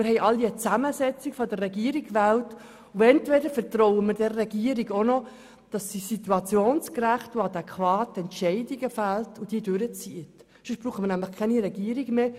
Wir alle haben eine Zusammensetzung der Regierung gewählt, und entweder vertrauen wir der Regierung, dass sie situationsgerecht und adäquat Entscheide fällt und diese durchzieht, oder sonst brauchen wir gar keine Regierung mehr.